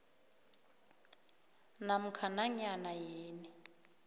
namkha nanyana yini